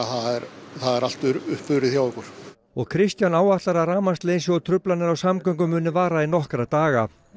það er allt uppurið hjá okkur og Kristján áætlar að rafmagnsleysi og truflanir á samgöngum muni vara í nokkra daga